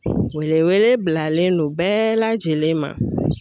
Wele wele bilalen don bɛɛ lajɛlen ma